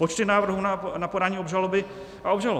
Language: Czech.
Počty návrhů na podání obžaloby a obžalob.